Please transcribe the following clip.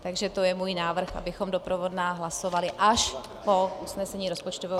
Takže to je můj návrh, abychom doprovodná hlasovali až po usnesení rozpočtového výboru.